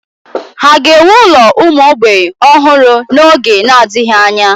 Ha ga-ewu ụlọ ụmụ mgbei ọhụrụ n'oge na-adịghị anya?